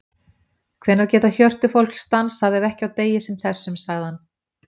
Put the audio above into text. Hvenær geta hjörtu fólks dansað ef ekki á degi sem þessum, sagði hann.